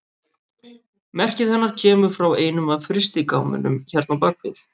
Merkið hennar kemur frá einum af frystigámunum hérna á bak við.